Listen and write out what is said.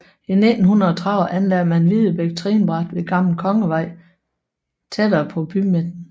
I 1930 anlagde man Videbæk trinbræt ved Gammel Kongevej tættere på bymidten